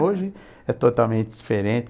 Hoje é totalmente diferente.